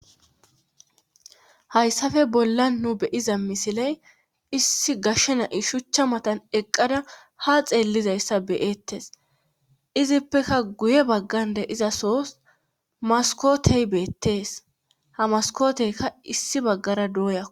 Hayssafe bolla nu beyiza misiley issi gashshe na'i shuchcha matan eqqada ha xeellizayssa beyettes izippeka guye baggande izasos maskotey beettees hamaskoteyka issi baggara dooyaku.